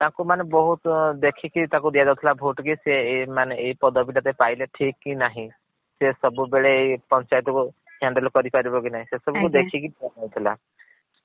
ତାଙ୍କୁ ମାନେ ବହୁତ୍ ଦେଖିକି ତାକୁ ଦିଆ ଯାଉଥିଲା vote କି ସେ ଏ ମାନେ ଏ ପଦବୀ ଟା ସେ ପାଇଲେ ଠିକ କି ନାହିଁ। ସିଏ ସବୁବେଳେ ଏଇ ପଞ୍ଚାୟତ କୁ handel କରି ପାରିବ କି ନାହିଁ ସେସବୁକୁ ଆଜ୍ଞା। ଦେଖିକି ।